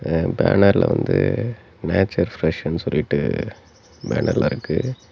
தென் பேனர்ல வந்து நேச்சர் பிரெஷ்னு சொல்லிட்டு பேனர்ல இருக்கு.